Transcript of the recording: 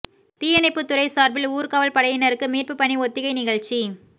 தீயணைப்பு துறை சார்பில் ஊர்க்காவல் படையினருக்கு மீட்பு பணி ஒத்திகை நிகழ்ச்சி